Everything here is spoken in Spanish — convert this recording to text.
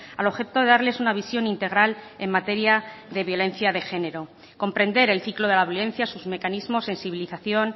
al objeto de darles una visión integral en materia de violencia de género comprender el ciclo de la violencia sus mecanismos sensibilización